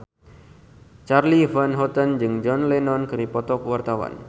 Charly Van Houten jeung John Lennon keur dipoto ku wartawan